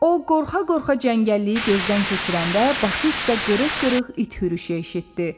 O qorxa-qorxa cəngəlliyi gözdən keçirəndə başı üstdə qırıq-qırıq it hürüşü eşitdi.